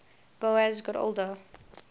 boas got older